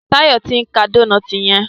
Tayo t'in ká Dónáátì yen.